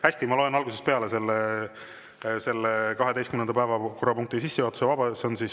Hästi, ma loen algusest peale selle 12. päevakorrapunkti sissejuhatuse.